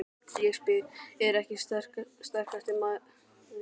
Ég spyr: Er ég ekki sterkasti maður í bænum?